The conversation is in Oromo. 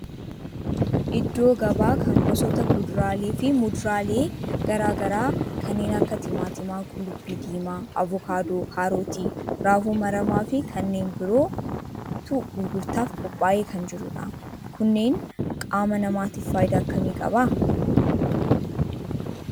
Iddoo gabaa kana gosoota kuduraalee fi muduraalee garaa garaa kanneen akka timaatima, qullubbii diimaa, avokaadoo, kaarootii, raafuu maramaa fi kanneen birootu gurgurtaaf qophaa'ee kan jiru dha. Kunnnen qaama namaatif faayidaa akkami qaba?